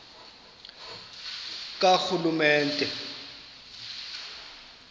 karhulumente